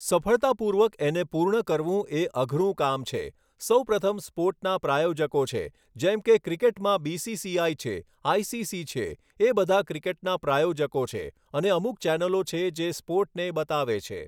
સફળતાપૂર્વક એને પૂર્ણ કરવું એ અઘરું કામ છે. સૌપ્રથમ સ્પોર્ટના પ્રાયોજકો છે જેમ કે ક્રિકેટમાં બિસિસિઆઈ છે આઈસિસિ છે એ બધા ક્રિકેટના પ્રાયોજકો છે અને અમુક ચેનલો છે જે સ્પોર્ટને બતાવે છે